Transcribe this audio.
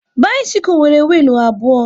Bisikul nwere wiilu abụọ